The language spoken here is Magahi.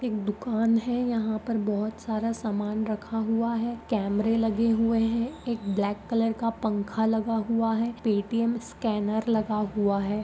एक दुकान है यहा बहुत सारा समान रखा हुआ है कैमरे लगे हुए हैं एक ब्लैक कलर का पंखा लगा हुआ है पे_टी_एम स्कैनर लगा हुआ है।